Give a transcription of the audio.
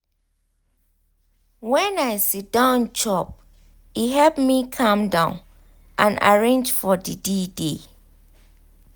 when i siddon chop e help me calm down and arrange for the day.